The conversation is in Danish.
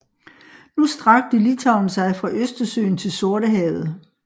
Nu strakte Litauen sig fra Østersøen til Sortehavet